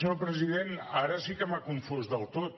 senyor president ara sí que m’ha confós del tot